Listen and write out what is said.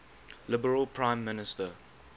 liberal prime minister